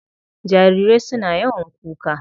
Jarirai suna yawan kuka.